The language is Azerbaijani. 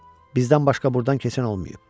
Bizdən başqa burdan keçən olmayıb.